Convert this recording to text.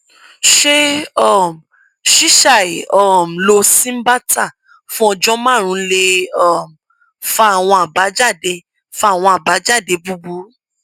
ṣé um ṣíṣàì um lo cymbalta fún ọjọ márùnún lè um fa àwọn àbájáde fa àwọn àbájáde búburú